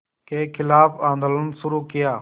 के ख़िलाफ़ आंदोलन शुरू किया